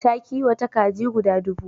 Ta kiwata kaji guda dubu.